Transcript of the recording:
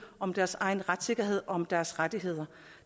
om deres egen retssikkerhed og om deres rettigheder